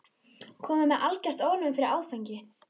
Kominn með algert ofnæmi fyrir áfengi.